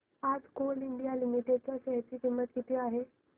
आज coal India limited च्या share ची किंमत किती आहे